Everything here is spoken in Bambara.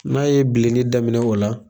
N'a ye bilen daminɛ o la